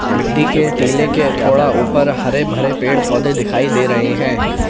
मिट्टी के टीले के थोड़ा ऊपर हरे भरे पेड़ पौधे दिखाई दे रहे हैं।